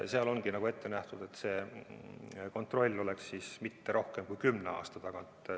Seal ongi ette nähtud, et kontroll ei oleks tihemini kui kümne aasta tagant.